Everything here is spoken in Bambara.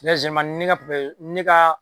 ne ka papa ne ka